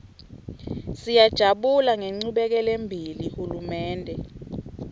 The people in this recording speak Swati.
siyajabula ngenchubekelembili hulumende